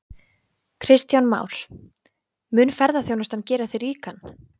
Kristján Már: Mun ferðaþjónustan gera þig ríkan?